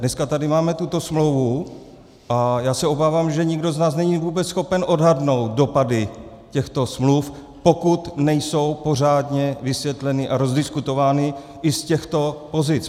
Dneska tady máme tuto smlouvu a já se obávám, že nikdo z nás není vůbec schopen odhadnout dopady těchto smluv, pokud nejsou pořádně vysvětleny a rozdiskutovány i z těchto pozic.